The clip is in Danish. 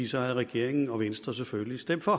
så havde regeringen og venstre selvfølgelig stemt for